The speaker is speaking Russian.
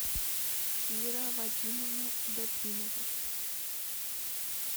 кира вадимовна добринова